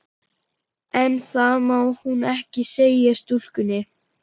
En það má hún ekki segja stúlkunni.